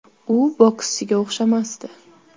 U bokschiga o‘xshamasdi.